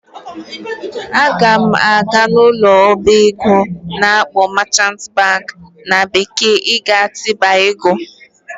Aga m aga n'ụlọ ọba ego a na-akpọ "merchant bank" na bekee iga bite ego